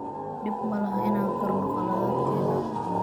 Dhib malahan in aan qirno khaladaadkeena.